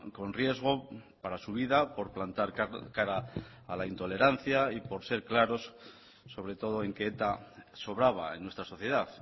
con riesgo para su vida por plantar cara a la intolerancia y por ser claros sobre todo en que eta sobraba en nuestra sociedad